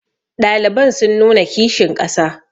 ɗaliban sun nuna kishin ƙasa